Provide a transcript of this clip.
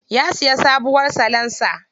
Ya siya sabuwar salansa.